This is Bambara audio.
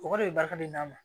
O kɔrɔ de bɛ bali ka d'a ma